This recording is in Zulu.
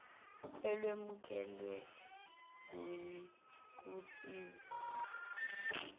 olwemukelwe kuyia kusizo